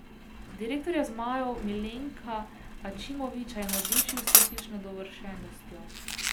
Direktorja zmajev Milenka Ačimovića je navdušil s tehnično dovršenostjo.